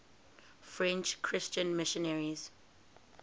french christian missionaries